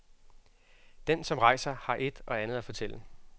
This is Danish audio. Den, som rejser, har et og andet at fortælle.